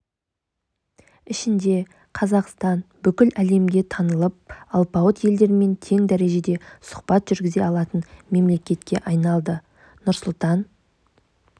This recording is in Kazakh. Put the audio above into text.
ішінде қазақстан бүкіл әлемге танылып алпауыт елдермен тең дәрежеде сұхбат жүргізе алатын мемлекетке айналды нұрсұлтан